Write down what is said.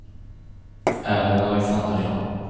Ellen Alexandersson